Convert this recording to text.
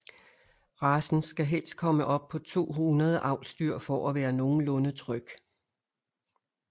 Racen skal helst komme op på 200 avlsdyr for at være nogenlunde tryg